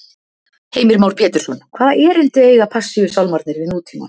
Heimir Már Pétursson: Hvaða erindi eiga Passíusálmarnir við nútímann?